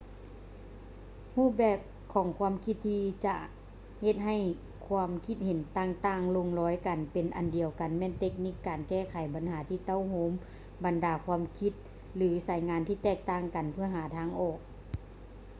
ຮູບແບບຂອງຄວາມຄິດທີ່ຈະເຮັດໃຫ້ຄວາມຄິດເຫັນຕ່າງໆລົງລອຍກັນເປັນອັນດຽວ ແມ່ນເຕັກນິກການແກ້ໄຂບັນຫາທີ່ເຕົ້າໂຮມບັນດາຄວາມຄິດ ຫຼື ສາຍງານທີ່ແຕກຕ່າງກັນເພື່ອຫາທາງອອກ